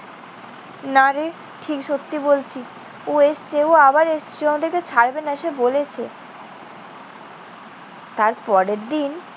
নারে? ঠিক সত্যি বলছি। ও এসেছে। ও আবার এসেছে। ও আমাদেরকে ছাড়বে না। সে বলেছে। তারপরের দিন